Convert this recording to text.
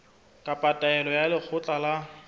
kapa taelo ya lekgotla la